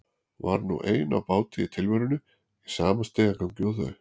Var nú ein á báti í tilverunni í sama stigagangi og þau.